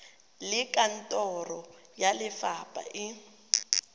le kantoro ya lefapha e